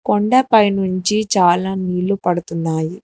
కొండపై నుంచి చాలా నీళ్లు పడుతున్నాయి.